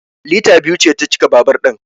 Lita biyu ce ta cika babur din